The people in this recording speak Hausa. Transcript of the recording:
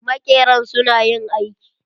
Maƙeran su na yin aiki.